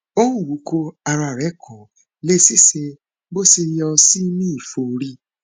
ó ń wúkọ ara rẹ kò lè ṣiṣẹ bó ṣe yẹ ó sì ń ní ẹfọrí